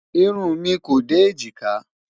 irún mí kò dé ejika